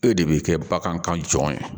E de bɛ kɛ bagan kan jɔn